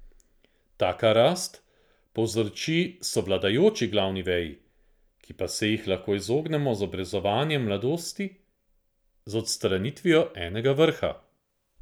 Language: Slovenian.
Taka rast povzroči sovladajoči glavni veji, ki pa se jih lahko izognemo z obrezovanjem v mladosti z odstranitvijo enega vrha.